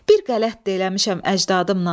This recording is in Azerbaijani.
Bir qələt də eləmişəm əcdadımla.